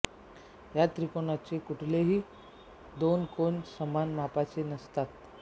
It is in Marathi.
या त्रिकोणाचे कुठलेही दोन कोन समान मापाचे नसतात